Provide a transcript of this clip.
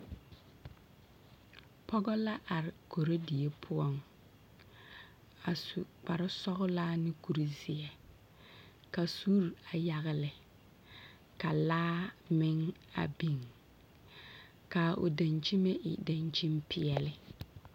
Pɔge la are korodie poɔŋ a su kpare sɔgelaa ne kuri zeɛ. Ka suuri a yagele ka laa meŋ a biŋ. Ka o daŋkyime e daŋkyimpeɛle.